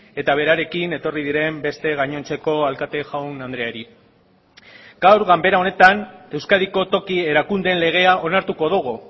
eta berarekin etorri diren beste gainontzeko alkate jaun andreari gaur ganbera honetan euskadiko toki erakundeen legea onartuko dugu